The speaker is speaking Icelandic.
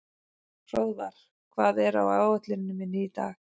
Hróðvar, hvað er á áætluninni minni í dag?